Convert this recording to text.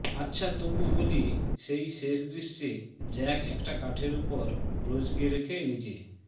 আচ্ছা তবু বলি সেই শেষ দৃশ্যে জ্যাক একটা কাঠের ওপর রোজকে রেখে নিজে